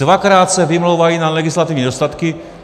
Dvakrát se vymlouvali na legislativní nedostatky.